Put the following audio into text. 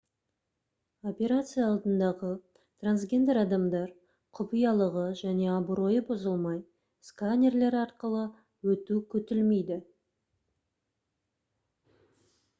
операция алдындағы трансгендер адамдар құпиялығы және абыройы бұзылмай сканерлер арқылы өту күтілмейді